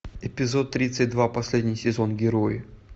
эпизод тридцать два последний сезон герои